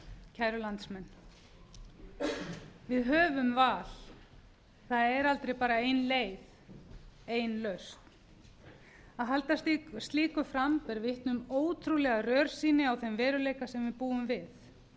kæru landsmenn við höfum val það er aldrei bara ein leið ein lausn að halda slíku fram ber vitni um ótrúlega rörsýn á þeim veruleika sem við búum við